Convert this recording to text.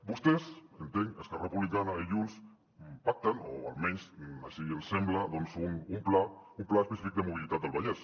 vostès entenc esquerra republicana i junts pacten o almenys així ens sembla un pla un pla específic de mobilitat del vallès